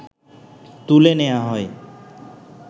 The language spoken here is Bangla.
তুলে নেয়া হয়